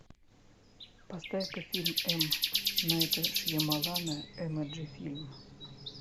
поставь ка фильм м найта шьямалана эмоджи фильм